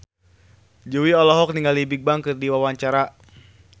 Jui olohok ningali Bigbang keur diwawancara